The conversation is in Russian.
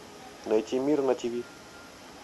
найти мир на ти ви